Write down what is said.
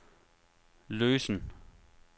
løsen